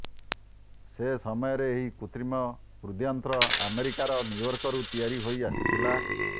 ସେସମୟରେ ଏହି କୃତ୍ରିମ ହୃଦ୍ଯନ୍ତ୍ର ଆମେରିକାର ନ୍ୟୁୟର୍କରୁ ତିଆରି ହୋଇଆସିଥିଲା